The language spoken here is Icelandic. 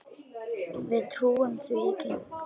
Við trúum því ekki.